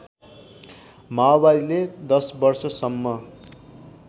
माओवादीले १० वर्षसम्म